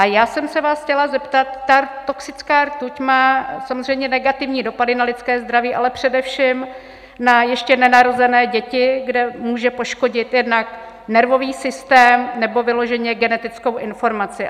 A já jsem se vás chtěla zeptat: ta toxická rtuť má samozřejmě negativní dopady na lidské zdraví, ale především na ještě nenarozené děti, kde může poškodit jednak nervový systém nebo vyloženě genetickou informaci.